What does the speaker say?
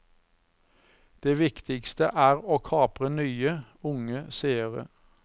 Det viktigste er å kapre nye, unge seere.